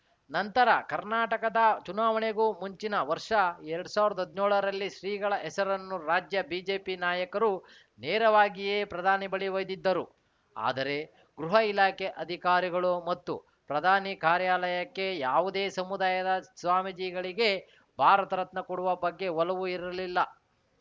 ನಂತರ ಕರ್ನಾಟಕದ ಚುನಾವಣೆಗೂ ಮುಂಚಿನ ವರ್ಷ ಎರಡ್ ಸಾವಿರದ ಹದ್ನ್ಯೋ ಳರಲ್ಲಿ ಶ್ರೀಗಳ ಹೆಸರನ್ನು ರಾಜ್ಯ ಬಿಜೆಪಿ ನಾಯಕರು ನೇರವಾಗಿಯೇ ಪ್ರಧಾನಿ ಬಳಿ ಒಯ್ದಿದ್ದರು ಆದರೆ ಗೃಹ ಇಲಾಖೆ ಅಧಿಕಾರಿಗಳು ಮತ್ತು ಪ್ರಧಾನಿ ಕಾರ್ಯಾಲಯಕ್ಕೆ ಯಾವುದೇ ಸಮುದಾಯದ ಸ್ವಾಮೀಜಿಗಳಿಗೆ ಭಾರತ ರತ್ನ ಕೊಡುವ ಬಗ್ಗೆ ಒಲವು ಇರಲಿಲ್ಲ